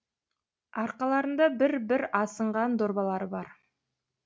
арқаларында бір бір асынған дорбалары бар